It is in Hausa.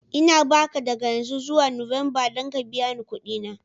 Ina ba ka daga yanzu zuwa Nuwamba don ka biya ni kuɗi na.